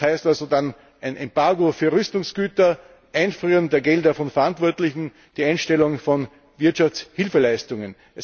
Das heißt also dann ein Embargo für Rüstungsgüter, das Einfrieren der Gelder von Verantwortlichen, die Einstellung von Wirtschaftshilfeleistungen.